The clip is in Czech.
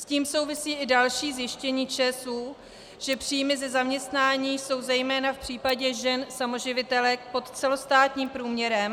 S tím souvisí i další zjištění ČSÚ, že příjmy ze zaměstnání jsou zejména v případě žen samoživitelek pod celostátním průměrem.